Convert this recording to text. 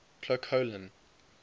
clocolan